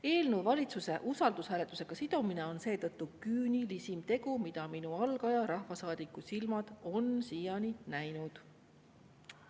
Eelnõu valitsuse usaldushääletusega sidumine on seetõttu küünilisim tegu, mida minu kui algaja rahvasaadiku silmad on siiani näinud.